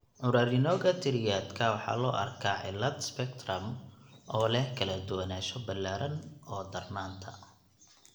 Currarinoga triadka waxaa loo arkaa cillad spectrum oo leh kala duwanaansho ballaaran oo darnaanta.